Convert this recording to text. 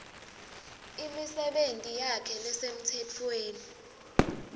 imisebenti yakhe lesemtsetfweni